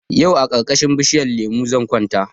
Yau a karkashin bishinyan lemo zan kwanta